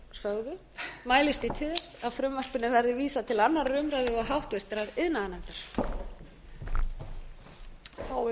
sögðu mælist ég til þess að frumvarpinu verði vísað til annarrar umræðu og háttvirtur iðnaðarnefndar